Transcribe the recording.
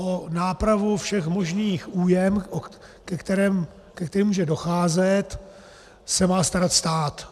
O nápravu všech možných újem, ke kterým může docházet, se má starat stát.